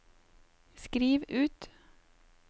skriv ut